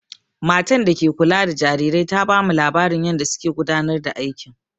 Matan da ke kula da jarirai ta bamu labarin yanda suke gudanar da aikin.